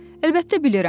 Əlbəttə bilirəm.